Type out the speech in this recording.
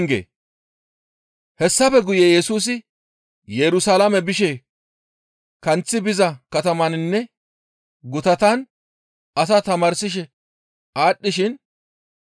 Hessafe guye Yesusi Yerusalaame bishe kanththi biza katamaninne gutatan asaa tamaarsishe aadhdhishin,